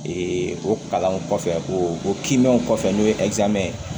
o kalanw kɔfɛ o kiinaw kɔfɛ n'o ye ye